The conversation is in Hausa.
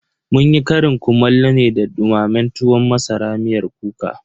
Munyi ƙarin kumallo ne da dumamen tuwon masara miyar kuka.